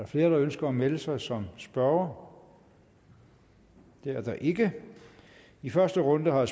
flere der ønsker at melde sig som spørgere det er der ikke i første runde har